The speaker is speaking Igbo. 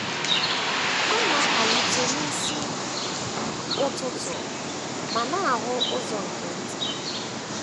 Ọ na - amalite n’isi ụtụtụ ma na - ahụ ụzọ nke nta.